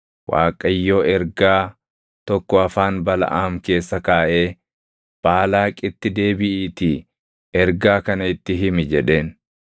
Waaqayyo ergaa tokko afaan Balaʼaam keessa kaaʼee, “Baalaaqitti deebiʼiitii ergaa kana itti himi” jedheen.